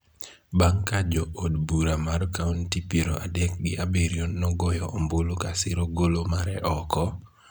bang� ka jo od bura mar kaonti piero adek gi abiriyo nogoyo ombulu ka siro golo mare oko,